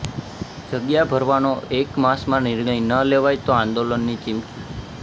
જગ્યા ભરવાનો એક માસમાં નિર્ણય ન લેવાય તો આંદોલનની ચીમકી